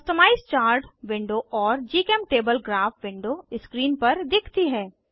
customise chart window और जीचेमटेबल graph window screen पर दिखती है